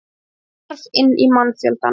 Hún hvarf inn í mannfjöldann.